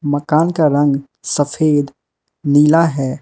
मकान का रंग सफेद नीला है।